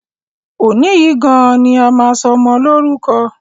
Òní yìí gan-an ni a máa sọ ọmọ Lórúkọ!